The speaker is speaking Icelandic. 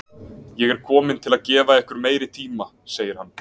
Ég er kominn til að gefa ykkur meiri tíma, segir hann.